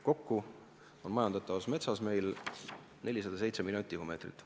Kokku on meil majandatavas metsas 407 miljonit tihumeetrit.